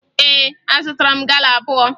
Ee, azụtara m gala abụọ